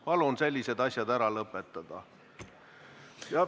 Palun sellised asjad ära lõpetada!